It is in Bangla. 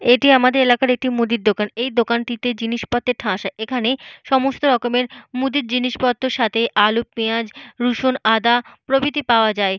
এটি আমাদের এলাকার একটি মুদির দোকান। এই দোকানটিতে জিনিসপত্রে ঠাসা। এখানে সমস্তরকমের মুদির জিনিসপত্রের সাথে আলু পেঁয়াজ রসুন আদা প্রভৃতি পাওয়া যায়।